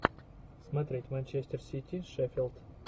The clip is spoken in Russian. смотреть манчестер сити шеффилд